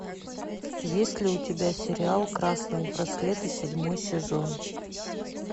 есть ли у тебя сериал красные браслеты седьмой сезон